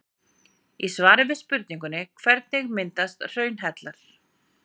Í svari við spurningunni Hvernig myndast hraunhellar?